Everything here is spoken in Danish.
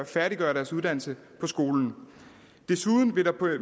færdiggøre deres uddannelse på skolen desuden vil der